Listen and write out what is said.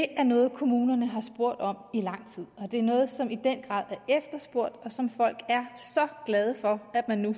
er noget kommunerne har spurgt om i lang tid det er noget som i den grad er efterspurgt og som folk er så glade for at der nu